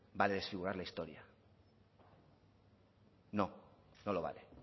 vale desfigurar la historia no no lo vale